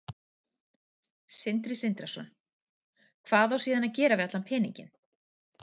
Sindri Sindrason: Hvað á síðan að gera við allan peninginn?